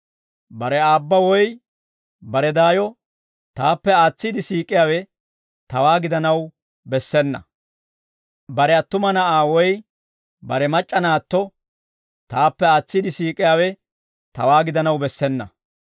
«Bare aabba woy bare daayo taappe aatsiide siik'iyaawe tawaa gidanaw bessena; bare attuma na'aa woy bare mac'c'a naatto taappe aatsiide siik'iyaawe tawaa gidanaw bessena.